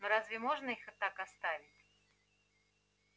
но разве можно их так оставить